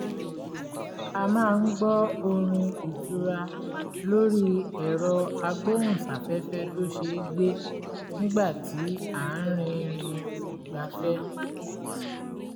a máa ń gbọ́ orin ìtura lórí ẹ̀rọ agbóhùnsáfẹ́fẹ́ tó ṣeé gbé nígbà tí a rìnrìn ìgbafẹ́